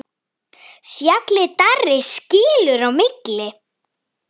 Fjallið Darri skilur á milli.